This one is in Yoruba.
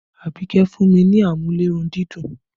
Abike fún mi ní amúlé-run-dídùn